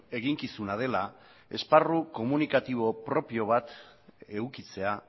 eginkizuna dela esparru komunikatibo propio bat edukitzea